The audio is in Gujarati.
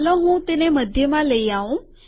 ચાલો હું તેને મધ્યમાં લઇ આઉં